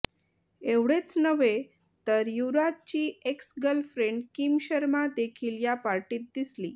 एवढेच नव्हे तर युवराजची एक्स गर्लफ्रेंड किम शर्मा देखील या पार्टीत दिसली